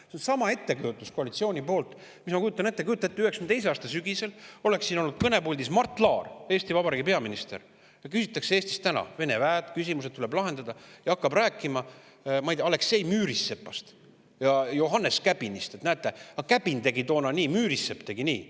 See on seesama koalitsiooni poolt: ma kujutan ette, et on 1992. aasta sügis, kõnepuldis on Mart Laar, Eesti Vabariigi peaminister, ja küsitakse Eesti – Vene väed, küsimused tuleb lahendada –, aga tema hakkab rääkima Aleksei Müürisepast ja Johannes Käbinist, et näete, Käbin tegi toona nii, Müürisepp tegi nii.